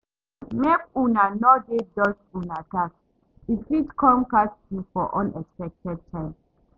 Make una no dey dodge una tax, e fit come catch you for unexpected time.